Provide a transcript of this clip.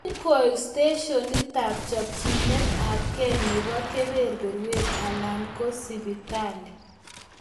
"Ingoik steshenitab chopchinet ab kee nebo kebeberwek, alan ko sipitali."